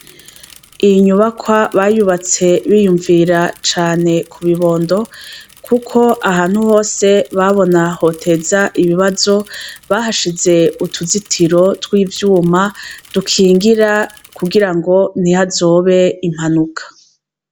Iyi nyubakwa bayubatse biyumvira cane ku bibondo, kuko ahantu hose babona hoteza ibibazo bahashize utuzitiro tw'ivyuma dukingira kugira ngo ntiho azobe impanuka.